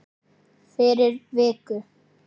Fyrir viku.